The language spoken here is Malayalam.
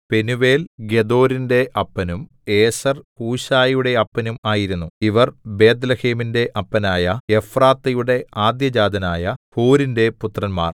പെനൂവേൽ ഗെദോരിന്റെ അപ്പനും ഏസെർ ഹൂശയുടെ അപ്പനും ആയിരുന്നു ഇവർ ബേത്ത്ലേഹേമിന്‍റെ അപ്പനായ എഫ്രാത്തയുടെ ആദ്യജാതനായ ഹൂരിന്റെ പുത്രന്മാർ